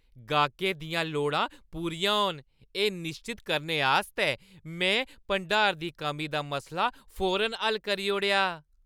गाह्कें दियां लोड़ा पूरियां होन, एह् निश्चत करने आस्तै में भंडार दी कमी दा मसला फौरन हल्ल करी ओड़ेआ।